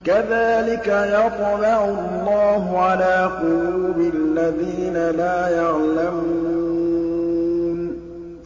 كَذَٰلِكَ يَطْبَعُ اللَّهُ عَلَىٰ قُلُوبِ الَّذِينَ لَا يَعْلَمُونَ